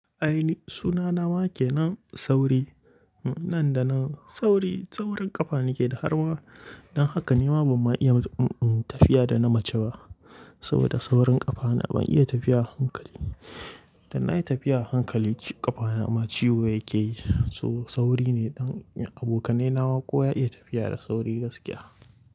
Ai ni suna na wa ke nan Sauri, nan da nan. Sauri, saurin ƙafa nake da harma. Dan haka nima ban ma iya tafiya da na mace ba. Saboda saurin ƙafana ban iya tafiya hankali. Da na yi tafiya hankali ƙafana ma ciwo yake yi. So sauri ne dan abokanai na ma kuwa iya tafiya da sauri gaskiya.